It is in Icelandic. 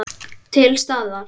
Til staðar.